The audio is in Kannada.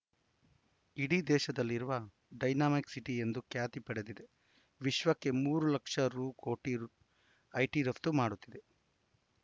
ಇಡೀ ದೇಶದಲ್ಲಿರುವ ಡೈನಾಮಿಕ್‌ ಸಿಟಿ ಎಂದು ಖ್ಯಾತಿ ಪಡೆದಿದೆ ವಿಶ್ವಕ್ಕೆ ಮೂರು ಲಕ್ಷ ರು ಕೋಟಿ ರು ಐಟಿ ರಫ್ತು ಮಾಡುತ್ತಿದೆ